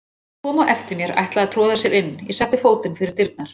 Hann kom á eftir mér, ætlaði að troða sér inn, ég setti fótinn fyrir dyrnar.